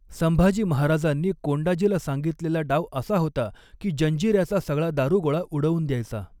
संभाजी महाराजांनी कोंडाजीला सांगितलेला डाव असा होता कि जंजीऱ्याचा सगळा दारू गोळा उडवून द्यायचा.